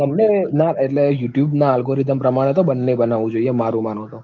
બંને ના, એટલે youtube ના algorithm પ્રમાણે તો બંને બનાવવું જોઈએ, મારુ માનો તો